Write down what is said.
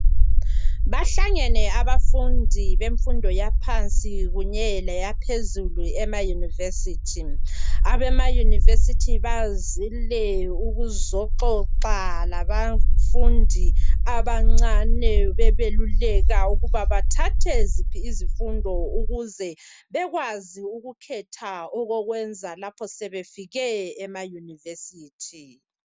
Bahlangene abafundi bemfundo yaphansi kunye leyaphezulu emayunivesithi ,abemayunivesithi bazile ukuzoxoxa labafundi abancane bebeluleka ukuba bathathe ziphi izifundo ukuze bekwazi ukukhetha okokwenza lapho sebefike ema yunivesithi.